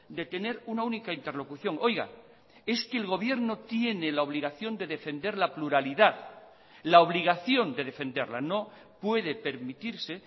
de tener una única interlocución oiga es que el gobierno tiene la obligación de defender la pluralidad la obligación de defenderla no puede permitirse